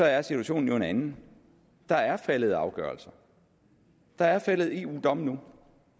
er situationen jo en anden der er faldet afgørelser der er faldet eu domme nu